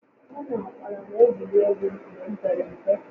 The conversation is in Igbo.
Mụ na ụkpala n'egwuri egwu mgbe m pere mpe